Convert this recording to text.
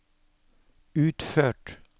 utført